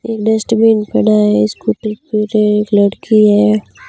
एक डस्टबिन पड़ा है स्कूटी एक लड़की है।